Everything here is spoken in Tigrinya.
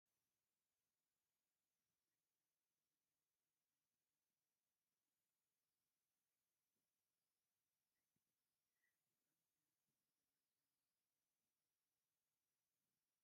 ናይ ህፃውንቲ ዝተፈላለዩ ዳይፐር በቢደረጆኦም ብቁፅሪ ተፈልዮም ኣብ ሹቅ ዝሽየጡ እንትኮኑ፣ ዳይፐር ናይ ንህፃውንቲ መቀመጫ ዘይመልጥ ብጣዕሚ ምችው እዩ ።